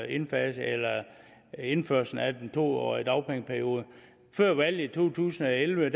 indførelsen indførelsen af den to årige dagpengeperiode før valget i to tusind og elleve